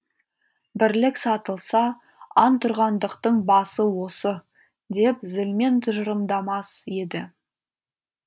бірлік сатылса антұрғандықтың басы осы деп зілмен тұжырымдамас еді